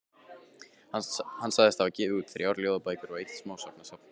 Hann sagðist hafa gefið út þrjár ljóðabækur og eitt smásagnasafn.